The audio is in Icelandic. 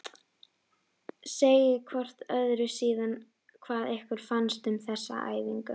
Segið hvort öðru síðan hvað ykkur fannst um þessa æfingu.